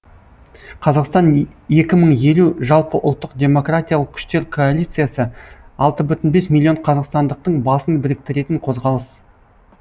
қазақстан екі мың елу жалпыұлттық демократиялық күштер коалициясы алты оннан бес миллион қазақстандықтың басын біріктіретін қозғалыс